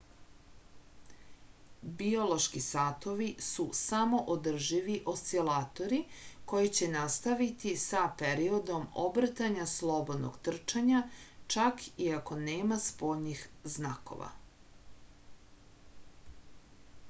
biološki satovi su samoodrživi oscilatori koji će nastaviti sa periodom obrtanja slobodnog trčanja čak i ako nema spoljnih znakova